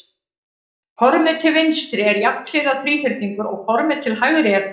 Formið til vinstri er jafnhliða þríhyrningur og formið til hægri er ferningur.